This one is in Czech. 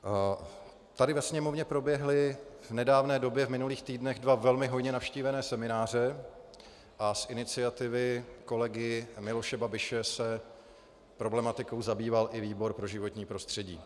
Tady ve Sněmovně proběhly v nedávné době v minulých týdnech dva velmi hojně navštívené semináře a z iniciativy kolegy Miloše Babiše se problematikou zabýval i výbor pro životní prostředí.